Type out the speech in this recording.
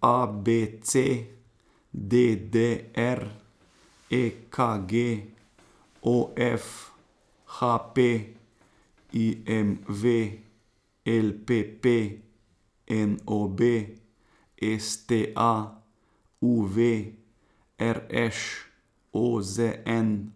A B C; D D R; E K G; O F; H P; I M V; L P P; N O B; S T A; U V; R Š; O Z N;